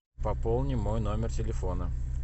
пополни мой номер телефона